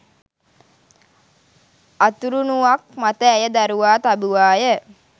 අතුරුණුවක් මත ඇය දරුවා තැබුවාය